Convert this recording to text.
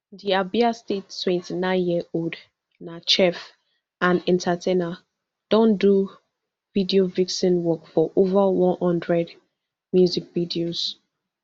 di abia state twenty-nineyearold na chef and entertainer don do video vixen work for ova one hundred music videos